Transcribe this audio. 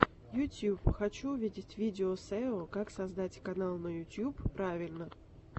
ютьюб хочу увидеть видео сео как создать канал на ютуб правильно